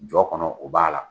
Jɔ kɔnɔ o b'a la.